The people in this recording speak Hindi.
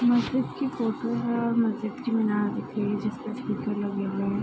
मस्जिद की फोटो है और मस्जिद की मीनार दिख रही है जिस पर स्पीकर हुए है।